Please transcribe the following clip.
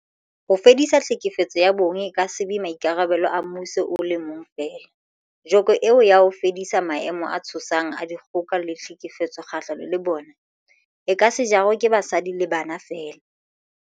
Ho fedisa tlhekefetso ya bong e ka se be maikarabelo a mmuso o le mong feela, joko eo ya ho fedisa maemo a tshosang a dikgoka le tlhekefetso kgahlano le bona, e ka se jarwe ke basadi le bana feela.